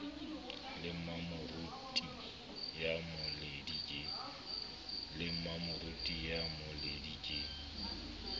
le mmamoruti ya mmoledi ke